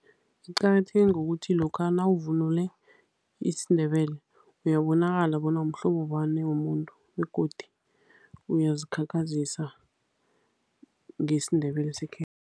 Iqakatheke ngokuthi lokha nawuvunule isiNdebele, uyabonakala bona umhlobo bani womuntu begodi uyazikhakhazisa ngesiNdebele